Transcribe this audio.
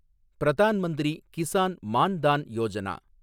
Pradhan Mantri Kisan Maan Dhan Yojana